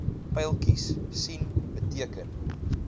pyltjies sien beteken